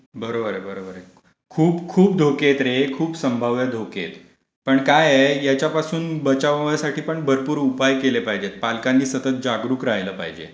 बरोबर आहे, बरोबर आहे. खूप खूप धोके आहेत रे. खूप संभाव्य धोके आहेत. पण काय आहे याच्यापासून बचाव होण्यासाठी पण पण भरपूर उपाय केले पाहिजेत,. पालकांनी सतत जागरूक राहिलं पाहिजे.